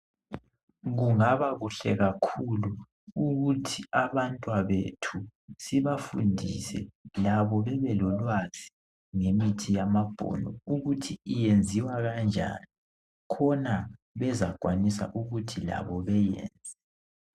Kungaba kuhle kakhulu ukuthi abantwabethu sibafundise labo babelolwazi ngemithi yamabhunu ukuthi iyenziwa kanjani khona bezakwanisa ukuthi labo beyenze.